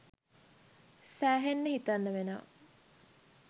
සෑහෙන්න හිතන්න වෙනවා!